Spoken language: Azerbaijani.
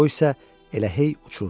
O isə elə hey uçurdu.